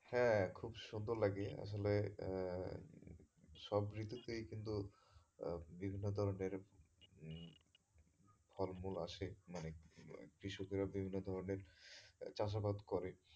হ্যাঁ খুব সুন্দর লাগে আসলে আহ সব ঋতুতেই কিন্তু আহ বিভিন্ন ধরনের উম ফল মূল আসে মানে কৃষকেরা বিভিন্ন ধরনের চাষাবাদ করে।